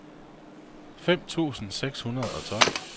fem tusind seks hundrede og tolv